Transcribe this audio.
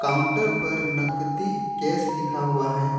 Counter पर नकदी cash लिखा हुआ है।